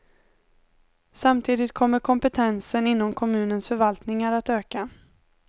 Samtidigt kommer kompetensen inom kommunens förvaltningar att öka.